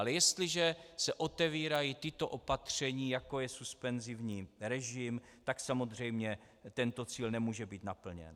Ale jestliže se otevírají tato opatření, jako je suspenzivní režim, tak samozřejmě tento cíl nemůže být naplněn.